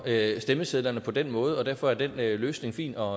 stemmesedlerne på den måde og derfor er den løsning fin og